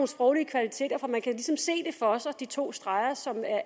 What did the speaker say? sproglige kvaliteter for man kan ligesom se de to streger som